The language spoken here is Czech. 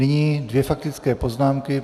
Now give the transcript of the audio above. Nyní dvě faktické poznámky.